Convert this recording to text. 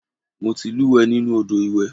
Mo ti lúùwẹ́ nínú Odò iwè.